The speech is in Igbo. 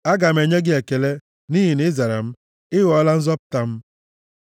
Aga m enye gị ekele, nʼihi na ị zara m; ị ghọọla nzọpụta m.